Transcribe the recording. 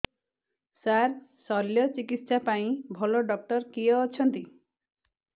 ସାର ଶଲ୍ୟଚିକିତ୍ସା ପାଇଁ ଭଲ ଡକ୍ଟର କିଏ ଅଛନ୍ତି